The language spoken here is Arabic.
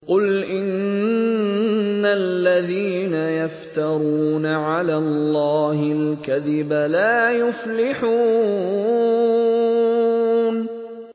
قُلْ إِنَّ الَّذِينَ يَفْتَرُونَ عَلَى اللَّهِ الْكَذِبَ لَا يُفْلِحُونَ